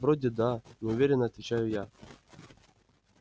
вроде да неуверенно отвечаю я